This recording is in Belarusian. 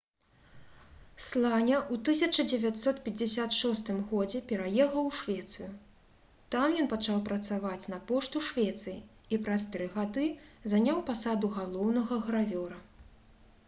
сланя ў 1956 годзе пераехаў у швецыю там ён пачаў працаваць на пошту швецыі і праз тры гады заняў пасаду галоўнага гравёра